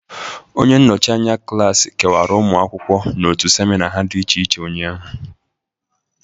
Onye nnọchị anya klasị kewara ụmụ akwụkwọ n'otu semina ha dị iche iche ụnyaahụ